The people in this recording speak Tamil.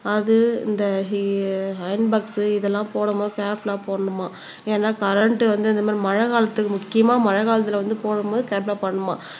அது இந்த ஆஹ் அயன் போக்ஸ் இதெல்லாம் போடும் போது கேர்ஃபுல்லா போடணுமா ஏன்னா கரண்ட் வந்து இந்த மாதிரி மழைக்காலத்துக்கு முக்கியமா மழைக்காலத்துல வந்து போடும்போது கேர்ஃபுல்லா போடணுமாம்